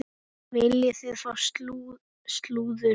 Viljið þið fá slúður?